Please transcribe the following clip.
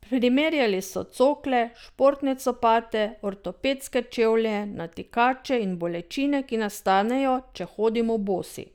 Primerjali so cokle, športne copate, ortopedske čevlje, natikače in bolečine, ki nastanejo, če hodimo bosi.